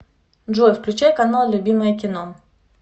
джой включай канал любимое кино